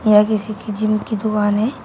यह किसी की जिम की दुकान है।